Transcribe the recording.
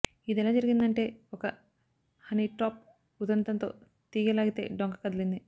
ఇదెలా జరిగిందంటే ఒక హనీట్రాప్ ఉదంతంతో తీగె లాగితే డొంక కదిలింది